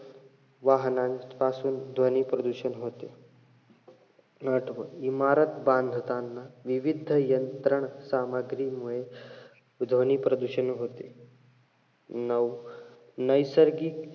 वाहनांपासून ध्वनी प्रदूषण होते. आठवं, इमारत बांधताना, विविध यंत्रण सामग्रीमुळे ध्वनी प्रदूषण होते. नऊ, नैसर्गिक,